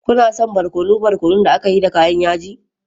Kuna son barkono barkono da aka yi da kayan yaji?